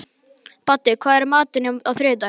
Baddi, hvað er í matinn á þriðjudaginn?